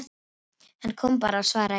Hann kom bara, svaraði Jón Ólafur.